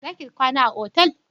Za ki kwana a otal?